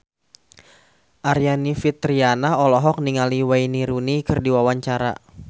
Aryani Fitriana olohok ningali Wayne Rooney keur diwawancara